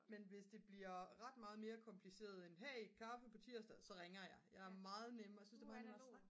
men hvis det bliver ret meget mere kompliceret end hey kaffe på tirsdag så ringer jeg jeg er meget nemmere jeg synes det meget nemmere at snakke